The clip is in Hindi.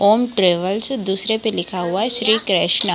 ओम ट्रेवेल्स दुसरे पे लिखा हुआ है श्री कृष्णा।